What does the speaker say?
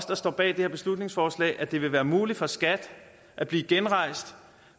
der står bag det her beslutningsforslag at det vil være muligt for skat at blive genrejst